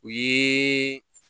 O ye